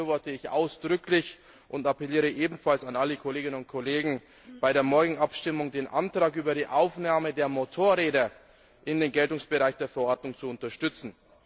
Das befürworte ich ausdrücklich und appelliere ebenfalls an alle Kolleginnen und Kollegen, bei der morgigen Abstimmung den Antrag über die Aufnahme der Motorräder in den Geltungsbereich der Verordnung zu unterstützen.